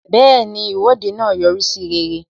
Bẹẹni, Ìwọ́de náà yọrí sí rere